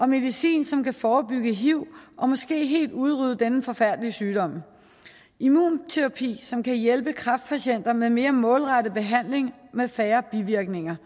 medicin som kan forebygge hiv og måske helt udrydde denne forfærdelige sygdom og immunterapi som kan hjælpe kræftpatienter med mere målrettet behandling med færre bivirkninger